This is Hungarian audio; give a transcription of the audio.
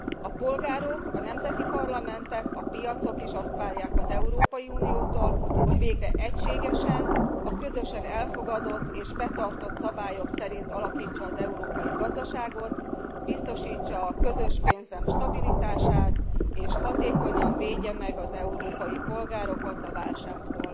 A polgárok, a nemzeti parlamentek, a piacok is azt várják az Európai Uniótól, hogy végre egységesen, a közösen elfogadott és betartott szabályok szerint alakítsa az európai gazdaságot, biztosítsa a közös pénznem stabilitását és hatékonyan védje meg az európai polgárokat a válságtól.